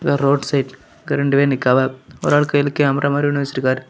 இது ஒரு road side ரெண்டு பேரு நிக்காவ ஒரு ஆள் கையில கேமரா மாறி ஒன்னு வச்சிருக்காரு.